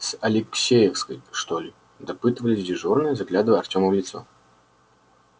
с алексеевской что ли допытывались дежурные заглядывая артему в лицо